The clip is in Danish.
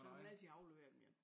Så kan man altid aflevere dem igen